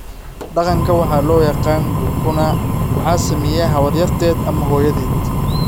Dhaqanka waxa loo yaqaan 'gukuna' waxaa sameeya habaryarteed ama hooyadeed.